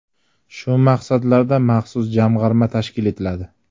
Shu maqsadlarda maxsus jamg‘arma tashkil etiladi.